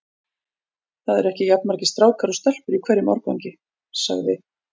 Það eru ekki jafn margir strákar og stelpur í hverjum árgangi sagði